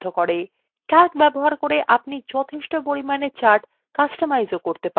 calc ব্যবহার করে আপনি যথেষ্ট পরিমাণে charts কাস্টমাইজও করতে পারেন